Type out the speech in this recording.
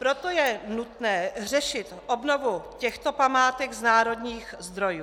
Proto je nutné řešit obnovu těchto památek z národních zdrojů.